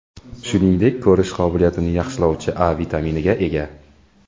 Shuningdek, ko‘rish qobiliyatini yaxshilovchi A vitaminiga ega.